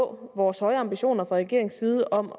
vores høje ambitioner fra regeringens side om